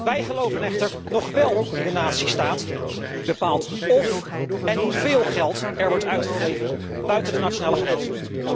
Wij geloven echter nog wél in de natiestaat, die bepaalt of en hoeveel geld er wordt uitgegeven buiten de nationale grenzen.